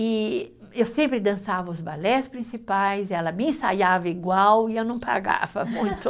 E eu sempre dançava os balés principais, ela me ensaiava igual e eu não pagava muito.